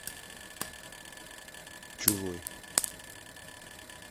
чужой